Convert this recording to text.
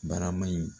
Barama in